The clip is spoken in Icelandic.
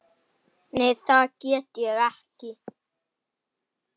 Nei, það get ég ekki.